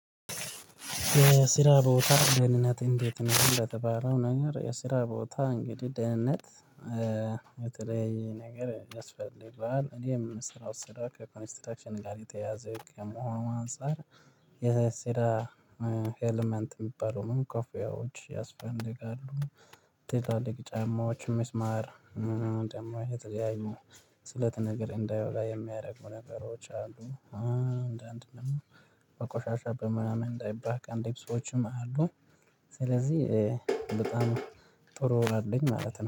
የስራ ቦታ ደህንነት እንዴት ነው? ለተባለው ነገር የስራ ቦታ እንግዲህ ደህንነት በተለያየ ነገር ያስፈልገዋል። እኔ የምሰራው ስራ ከኮንስትራክሽን ጋር የተያያዘ ከመሆኑ አንፃር የስራ ኤለመንት የሚባለውን ኮፊያዎች ያስፈልጋሉ። ትላልቅ ጫማዎች ሚስማር ደግሞ የተለያዩ ስለት ነገር እንዳይወጋ የሚያደርጉ ነገሮች አሉ። አንዳንድ ደግሞ በቆሻሻ በምናምን እንዳይባክ ደብሶቹም አሉኝ። ስለዚህ በጣም ጥሩ ወር አለኝ ማለት ነው